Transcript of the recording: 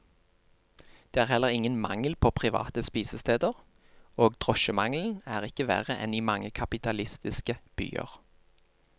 Det er heller ingen mangel på private spisesteder, og drosjemangelen er ikke verre enn i mange kapitalistiske byer.